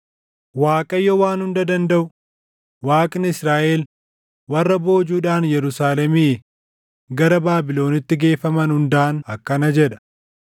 Waaqayyo Waan Hunda Dandaʼu, Waaqni Israaʼel warra boojuudhaan Yerusaalemii gara Baabilonitti geeffaman hundaan akkana jedha: